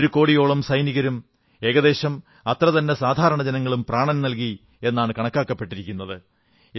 ഒരു കോടിയോളം സൈനികരും ഏകദേശം അത്രതന്നെ സാധാരണ ജനങ്ങളും പ്രാണൻ നല്കി എന്നാണ് കണക്കാക്കപ്പെടുന്നത്